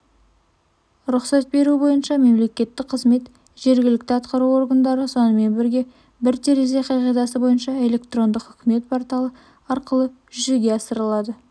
рұқсат беру бойынша мемлекеттік қызмет жергілікті атқару органдары сонымен бірге бір терезе қағидасы бойынша электрондық үкімет порталы арқылы жүзеге асырылады